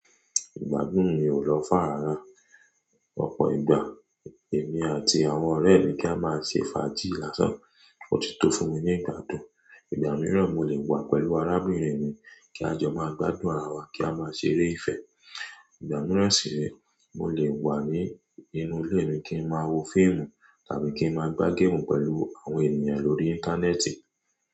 Ìgbádùn mi ò lọ́fárára. Ọ̀pọ̀ ìgbà èmi àti àwọn ọ̀rẹ́ mi kí a máa ṣe fàájì lásán. Ó ti tó fún mi ní ìgbádùn. Ìgbà mìíràn mo lè wà pẹ̀lú arábìnrin mi kí a jọ máa gbádùn ara wa kí a máa ṣeré ìfẹ́. Ìgbà mìíràn sì ni mo lè wà ní inú ilé mi kí n máa wo fíìmù tàbí kí n máa gbá géèmù pẹ̀lú àwọn ènìyàn lórí Íńtánẹ́ẹ̀tì.